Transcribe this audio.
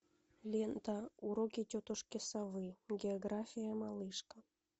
лента уроки тетушки совы география малышка